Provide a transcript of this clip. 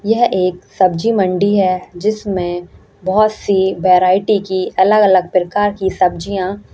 यह एक सब्जी मंडी है जिसमें बहोत ही वेराइटी की अलग-अलग प्रकार की सब्जियाँ --